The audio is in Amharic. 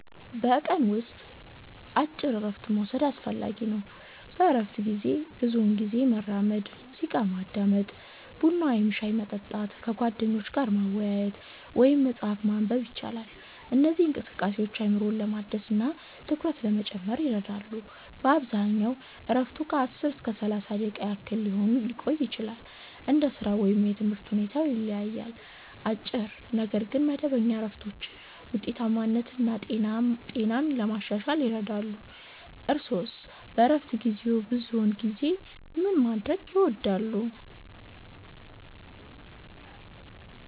በቀን ውስጥ አጭር እረፍት መውሰድ አስፈላጊ ነው። በእረፍት ጊዜ ብዙውን ጊዜ መራመድ፣ ሙዚቃ ማዳመጥ፣ ቡና ወይም ሻይ መጠጣት፣ ከጓደኞች ጋር መወያየት ወይም መጽሐፍ ማንበብ ይቻላል። እነዚህ እንቅስቃሴዎች አእምሮን ለማደስ እና ትኩረትን ለመጨመር ይረዳሉ። በአብዛኛው እረፍቱ ከ10 እስከ 30 ደቂቃ ያህል ሊቆይ ይችላል፣ እንደ ሥራው ወይም የትምህርት ሁኔታው ይለያያል። አጭር ነገር ግን መደበኛ እረፍቶች ውጤታማነትን እና ጤናን ለማሻሻል ይረዳሉ። እርስዎስ በእረፍት ጊዜዎ ብዙውን ጊዜ ምን ማድረግ ይወዳሉ?